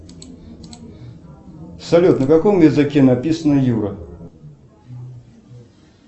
салют на каком языке написано юра